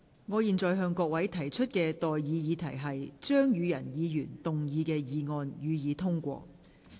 我現在向各位提出的待議議題是：張宇人議員動議的議案，予以通過。